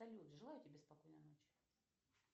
салют желаю тебе спокойной ночи